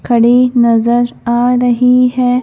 खड़ी नजर आ रही है।